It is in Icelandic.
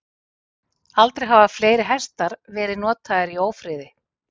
Aldrei hafa fleiri hestar verið notaðir í ófriði.